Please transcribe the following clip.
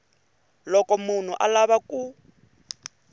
loko munhu a lava ku